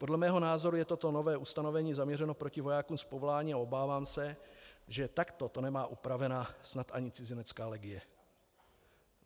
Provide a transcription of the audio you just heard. Podle mého názoru je toto nové ustanovení zaměřeno proti vojákům z povolání a obávám se, že takto to nemá upraveno snad ani cizinecká legie.